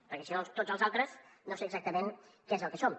perquè si no tots els altres no sé exactament què és el que som